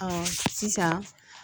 sisan